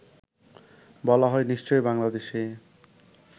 বলা হয় নিশ্চয়ই বাংলাদেশী